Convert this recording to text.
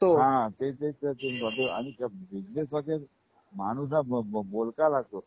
तेच तर मी म्हणतो आणि त्या बिजनेसला काय माणूस हा खूप बोलका लागतोच.